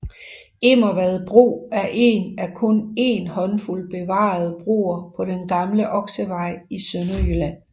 Immervad bro er en af kun en håndfuld bevarede broer på den gamle Oksevej i Sønderjylland